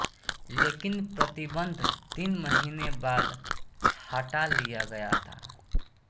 लेकिन प्रतिबंध तीन महीने बाद हटा लिया गया था